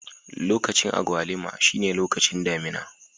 Lokacin agwaluma shine lokacin damina.